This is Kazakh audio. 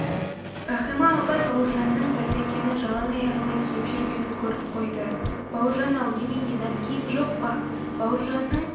рахима апай бауыржанның бәтеңкені жалаң аяғына киіп жүргенін көріп қойды бауыржан-ау немене нәскиің жоқ па бауыржанның